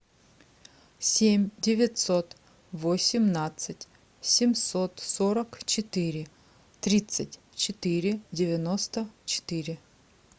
семь девятьсот восемнадцать семьсот сорок четыре тридцать четыре девяносто четыре